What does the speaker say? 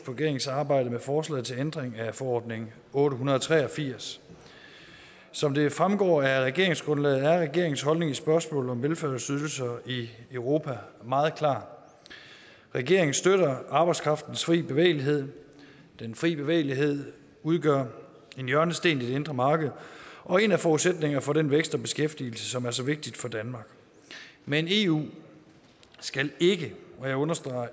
på regeringens arbejde med forslaget til ændring af forordning otte hundrede og tre og firs som det fremgår af regeringsgrundlaget er regeringens holdning i spørgsmålet om velfærdsydelser i europa meget klar regeringen støtter arbejdskraftens fri bevægelighed den fri bevægelighed udgør en hjørnesten i det indre marked og en af forudsætningerne for den vækst og beskæftigelse som er så vigtig for danmark men eu skal ikke og jeg understreger